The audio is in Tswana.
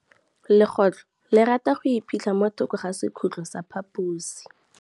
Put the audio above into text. Legôtlô le rata go iphitlha mo thokô ga sekhutlo sa phaposi.